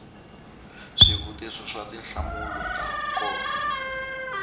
swivutiso swa tinhlamulo to koma